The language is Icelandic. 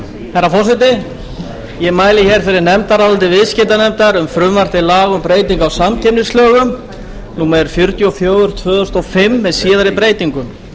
herra forseti ég mæli fyrir nefndaráliti viðskiptanefndar um frumvarp til laga um breytingu á samkeppnislögum númer fjörutíu og fjögur tvö þúsund og fimm með síðari breytingum